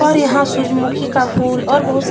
और यहाँ सूजमुखी का फूल और बोहुत सा --